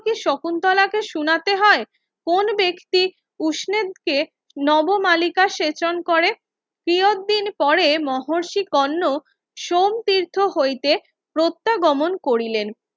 শকুন্তলাকে শুনতে হয় কোন ব্যক্তি উসনেদকে নবমালিকা সেচন করে তিয়তদিন পরে মহিয়সী কর্ণ সোম তৃথ হইতে প্রত্যাগমন করিলেন